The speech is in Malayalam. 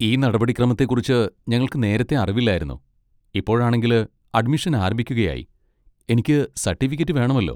ഈ നടപടിക്രമത്തെക്കുറിച്ച് ഞങ്ങൾക്ക് നേരത്തേ അറിവില്ലായിരുന്നു, ഇപ്പോഴാണെങ്കില് അഡ്മിഷൻ ആരംഭിക്കുകയായി. എനിക്ക് സർട്ടിഫിക്കറ്റ് വേണമല്ലോ.